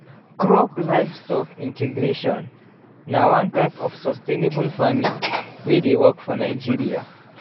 crop livestock integration na one type of sustainable farming wey dey work for nigeria